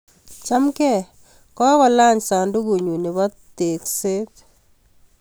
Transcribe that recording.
Chamgei , kokolany sandugunyun nebo tokset